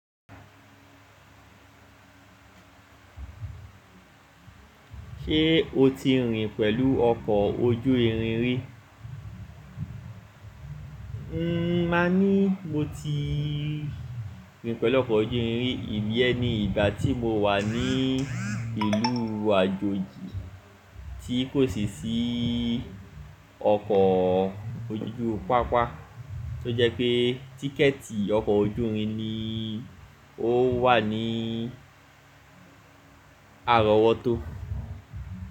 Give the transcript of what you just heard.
Ṣé o ti rìn pẹ̀lú ọkọ̀ ojú irin rí? Ǹ má ní mo ti rìn pẹ̀lú ọkọ̀ ojú irin rí, ìyẹn ni ìgbà tí mo wà ní ìlú Àjòjì tí kò sì sí ọkọ̀ ojú ojú pápá, tó jẹ́ pé tíkẹ̀ẹ̀tì ọkọ̀ ojú irin ni ó wà ní àrọ̀wọ́tó.